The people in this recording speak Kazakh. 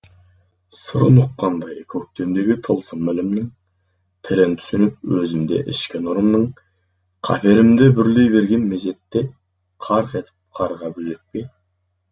сырын ұққандай көктемдегі тылсым ілімнің тілін түсініп өзім де ішкі нұрымның қаперім де бүрлей берген мезетте қарқ етіп қарға безөкпе